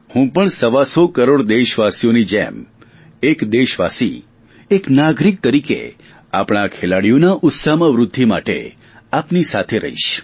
હું પણ સવા સો કરોડ દેશવાસીઓની જેમ એક દેશવાસી એક નાગરીક તરીકે આપણા આ ખેલાડીઓના ઉત્સાહમાં વૃધ્ધિ માટે આપની સાથે રહીશ